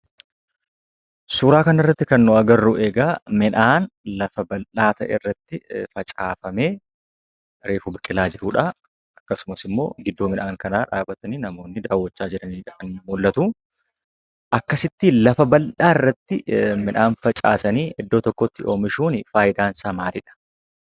Suuraa kan irratti kan nuti arginu midhaan lafa baldhaa irratti facaafamee jiruudha. Akkasumas namoonni immoo iddoo midhaan kanaa dhaabbatanii daawwachaa kan jiraniidha. Haala kanaan midhaan lafa bal'aa irratti oomishuun faayidaan isaa maalii dha?